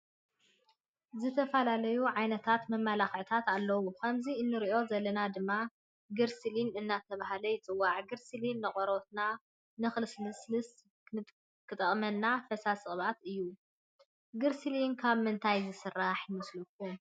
ዝተፈላለዩ ዓይነታት መመላክዕታት አለው ከምዚ እንሪኦ ዘለና ድማ ግሪሲሊኒ እናተባሀለ ይፅዋዕ። ግሪስሊን ንቆርበትና ንክልስልስ እንጥቀሞ ፈሳሲ ቅብአት እዩ። ግሪሲሊን ካብ ምንታይ ዝስራሕ ይመስለኩም ?